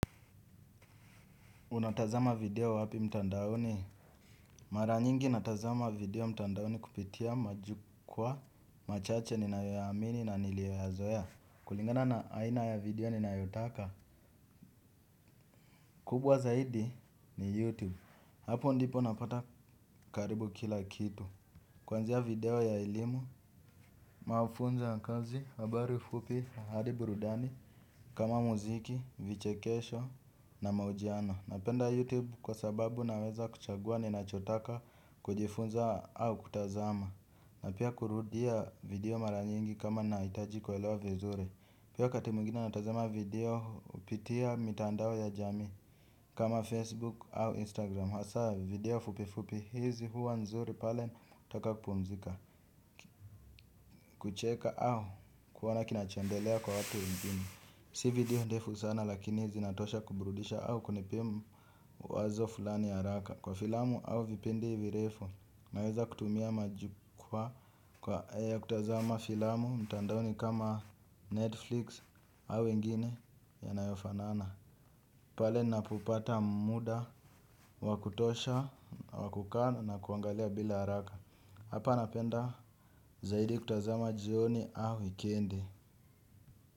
Unatazama video wapi mtandaoni? Mara nyingi natazama video mtandaoni kupitia majukwaa machache ninayoyaamini na niliyoyazoea kulingana na aina ya video ninayotaka. Kubwa zaidi ni YouTube hapo ndipo napata karibu kila kitu. Kuanzia video ya elimu mafunzo ya kazi, habari fupi, hadi burudani. Kama muziki, vichekesho na mahojiano napenda YouTube kwa sababu naweza kuchagua ninachotaka kujifunza au kutazama. Na pia kurudia video mara nyingi kama nahitaji kuelewa vizuri. Pia wakati mwingine natazama video kupitia mitandao ya jamii kama Facebook au Instagram hasa video fupi fupi hizi huwa nzuri pale ninapotaka kupumzika. Kucheka au kuona kinachoendelea kwa watu nchini. Si video ndefu sana lakini zinatosha kuburudisha au kunipa wazo fulani haraka kwa filamu au vipindi virefu naweza kutumia majukwaa kwa kutazama filamu mtandaoni kama Netflix au wengine yanayofanana. Pale ninapopata muda wa kutosha wa kukaa na kuangalia bila haraka. Hapa napenda zaidi kutazama jioni au wikendi.